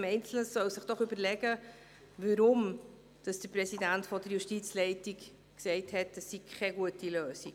Jeder einzelne sollte sich überlegen, weshalb der Präsident der Justizleitung gesagt hat, das sei keine gute Lösung.